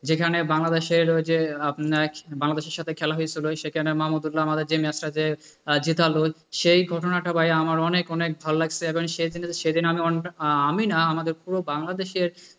যেখানে বাংলাদেশের ওই যে আপনার বাংলাদেশের সাথে খেলা হয়েছিল সেখানে মামুদউল্লা যে ম্যাচটা যে জেতালো সেই ঘটনাটা ভাই আমার অনেক অনেক ভালো লাগছে সে জন্য, সে জন্য শুধু আমি না, আমাদের পুরো বাংলাদেশের,